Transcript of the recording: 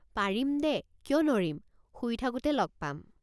পাৰিম দেকিয় নৰিম? পাৰিম দেকিয় নৰিম? শুই থাকোতে লগ পাম।